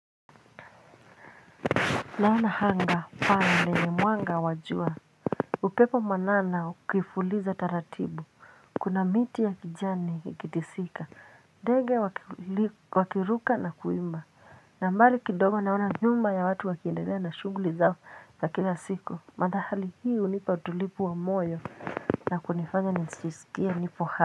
Naona anga fange ni mwanga wa jua. Upepo mwanana ukifuliza taratibu. Kuna miti ya kijani ikitisika. Ndege wakiruka na kuimba. Na mbali kidogo naona nyumba ya watu wakiendelea na shughuli zao za kila siku. Madhahali hii hunipa utulivu wa moyo na kunifanya nijisikie niko hai.